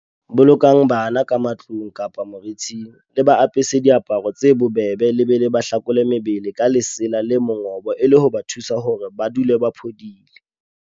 Bolokang bana ka matlung kapa moriting, le ba apese diaparo tse bobebe le be le ba hlakole mebeleng ka lesela le mongobo e le ho ba thusa hore ba dule ba phodile.